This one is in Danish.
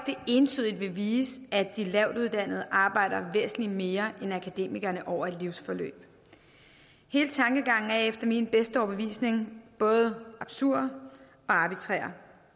det entydigt vil vise at de lavtuddannede arbejder væsentlig mere end akademikerne over et livsforløb hele tankegangen er efter min bedste overbevisning både absurd og arbitrær